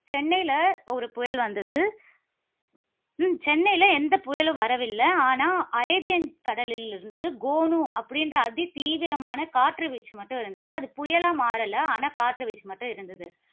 சென்னையில ஒரு புயல் வந்தது. உம் சென்னையில எந்த புயலும் வரவில்லை. ஆனா, அரேபியன் கடலில் இருந்து கொனு அப்படிங்கிற அதி தீவிரமான காற்று வீச்சு மற்றும் இருந்தது. அது புயலா மாறல. ஆனா, காற்று வீச்சு மற்றும் இருந்தது.